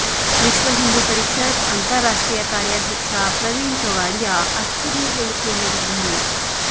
ವಿಶ್ವ ಹಿಂದೂ ಪರಿಷತ್ ಅಂತಾರಾಷ್ಟ್ರೀಯ ಕಾರ್ಯಾಧ್ಯಕ್ಷ ಪ್ರವೀಣ್ ತೊಗಾಡಿಯಾ ಅಚ್ಚರಿಯ ಹೇಳಿಕೆ ನೀಡಿದ್ದಾರೆ